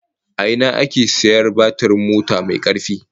A ina ake sayar batirin mota mai karfi?